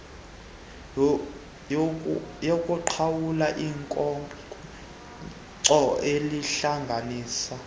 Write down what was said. yokuqhawula ikhonkco elihlanganisa